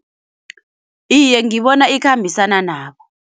Iye ngibona ikhambisana nabo.